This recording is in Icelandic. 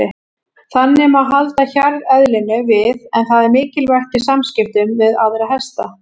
Þannig má halda hjarðeðlinu við en það er mikilvægt í samskiptum við aðra hesta.